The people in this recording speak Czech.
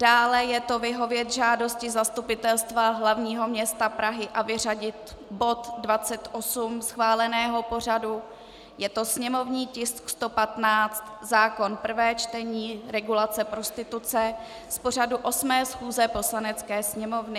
Dále je to vyhovět žádosti Zastupitelstva hlavního města Prahy a vyřadit bod 28 schváleného pořadu, je to sněmovní tisk 115, zákon, prvé čtení, regulace prostituce, z pořadu 8. schůze Poslanecké sněmovny.